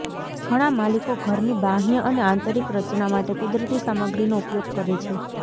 ઘણાં માલિકો ઘરની બાહ્ય અને આંતરિક રચના માટે કુદરતી સામગ્રીનો ઉપયોગ કરે છે